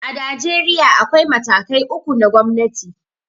A Najeriya, akwai matakai uku na gomnati.